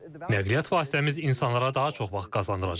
Nəqliyyat vasitəmiz insanlara daha çox vaxt qazandıracaq.